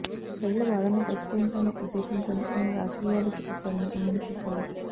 ప్రజల బాధలను పరిష్కరించాలనే ఉద్దేశ్యంతోనే ఆయన రాజకీయాల్లోకి వచ్చారని ఆయన చెప్పారు